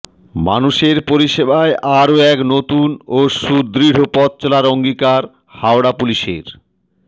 মানুষের পরিষেবায় আরও এক নতুন ও সুদৃঢ় পথ চলার অঙ্গীকার হাওড়া পুলিশের